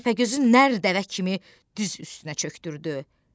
Təpəgözün nər dəvə kimi düz üstünə çökdürdü.